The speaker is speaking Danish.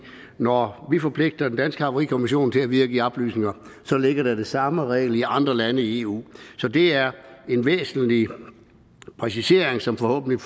når vi forpligter den danske havarikommission til at videregive oplysninger så ligger der den samme regel i andre lande i eu så det er en væsentlig præcisering som forhåbentlig